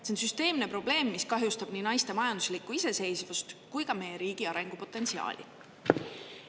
See on süsteemne probleem, mis kahjustab nii naiste majanduslikku iseseisvust kui ka meie riigi arengupotentsiaali.